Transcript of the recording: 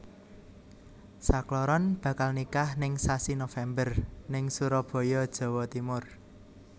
Sakloron bakal nikah ning sasi November ning Surabaya Jawa Timur